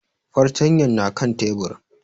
Fartanyan na kan tebur